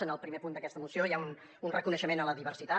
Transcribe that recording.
en el primer punt d’aquesta moció hi ha un reconeixement a la diversitat